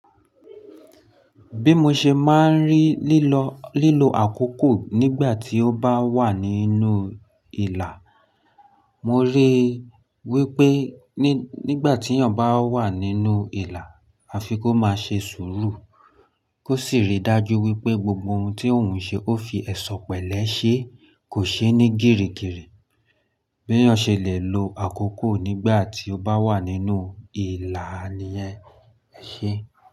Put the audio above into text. Bí mo ṣe máa ń rí lílo, lílo àkókò nígbà tí ó bá wà nínú ìlà, mo rí i wípé nígbà tí èèyàn bá wà nínú ìlà, a fi kó máa ṣe sùúrù. Kó sì rí dájú wípé gbogbo ohun tí òun ṣe ó fi ẹ̀ṣọ́ pẹ̀lẹ́ ṣe, kò ṣe ní gírigiri. Bí èèyàn ṣe lè lo àkókò nígbà tí ó bá wà nínú ìlà niyẹn, e ṣe.